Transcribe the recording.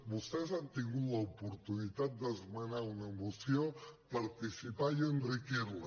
vostès han tingut l’oportunitat d’esmenar una moció participar i enriquir la